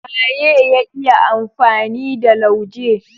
Waye ya iya amfani da lauje?